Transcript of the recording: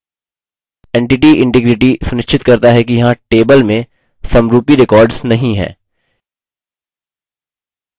entity integrity सुनिश्चित करता है कि यहाँ table में समरूपी records नहीं हैं